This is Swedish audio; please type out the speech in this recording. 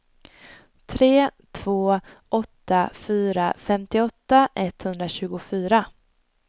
tre två åtta fyra femtioåtta etthundratjugofyra